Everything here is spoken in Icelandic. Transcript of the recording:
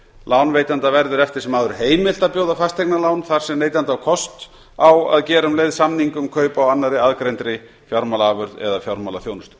lánveitanda verður eftir sem áður heimilt að bjóða fasteignalán þar sem neytandi á kost á að gera um leið samning um kaup á annarri aðgreindri fjármálaafurð eða fjármálaþjónustu